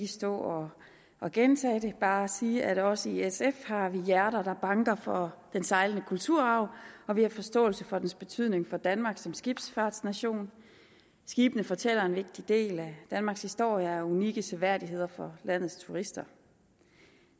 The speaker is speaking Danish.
stå og gentage det men bare sige at vi også i sf har hjerter der banker for den sejlende kulturarv og vi har forståelse for dens betydning for danmark som skibsfartsnation skibene fortæller en vigtig del af danmarks historie og er unikke seværdigheder for landets turister